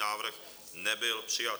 Návrh nebyl přijat.